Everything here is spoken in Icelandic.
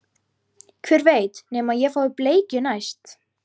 Hver veit nema ég fái bleikju næst